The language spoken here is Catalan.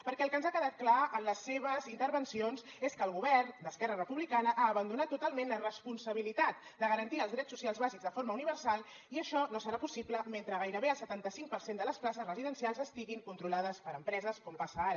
perquè el que ens ha quedat clar en les seves intervencions és que el govern d’esquerra republicana ha abandonat totalment la responsabilitat de garantir els drets socials bàsics de forma universal i això no serà possible mentre gairebé el setanta cinc per cent de les places residencials estiguin controlades per empreses com passa ara